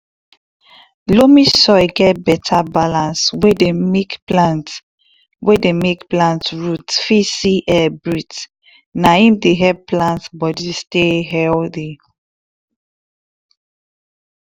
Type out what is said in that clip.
loamy soil get beta balance wey deymake plant wey deymake plant root fit see air breathe na im dey help plant body stay healthy